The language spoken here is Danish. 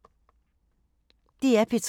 DR P3